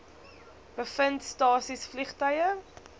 bevind stasies vliegtuie